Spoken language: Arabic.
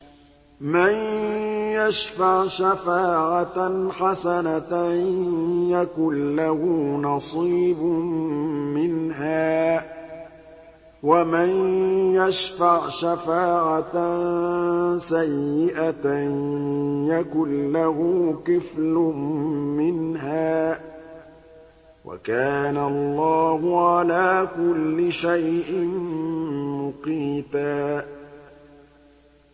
مَّن يَشْفَعْ شَفَاعَةً حَسَنَةً يَكُن لَّهُ نَصِيبٌ مِّنْهَا ۖ وَمَن يَشْفَعْ شَفَاعَةً سَيِّئَةً يَكُن لَّهُ كِفْلٌ مِّنْهَا ۗ وَكَانَ اللَّهُ عَلَىٰ كُلِّ شَيْءٍ مُّقِيتًا